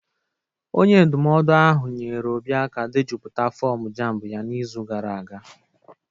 Onye ndụmọdụ ahụ nyeere Obi aka dejupụta fọm JAMB ya n'izu gara aga.